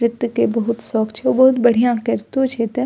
नृत्य के बहुत शौक छे बहुत बढ़िया करितो छे त --